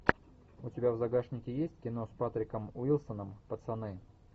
у тебя в загашнике есть кино с патриком уилсоном пацаны